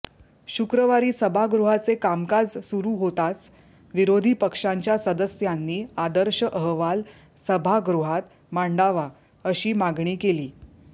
शुक्रवारी सभागृहाचे कामकाज सुरू होताच विरोधी पक्षांच्या सदस्यांनी आदर्श अहवाल सभागृहात मांडावा अशी मागणी केली